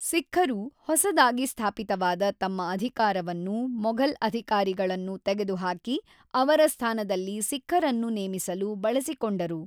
ಸಿಖ್ಖರು ಹೊಸದಾಗಿ ಸ್ಥಾಪಿತವಾದ ತಮ್ಮ ಅಧಿಕಾರವನ್ನು ಮೊಘಲ್ ಅಧಿಕಾರಿಗಳನ್ನು ತೆಗೆದುಹಾಕಿ ಅವರ ಸ್ಥಾನದಲ್ಲಿ ಸಿಖ್ಖರನ್ನು ನೇಮಿಸಲು ಬಳಸಿಕೊಂಡರು